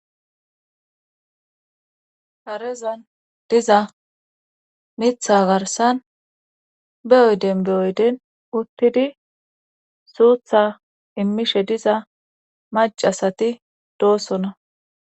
Harezan diza mitha garsan be oyden be oyden uttidi suutha immishe diza macasati doosona,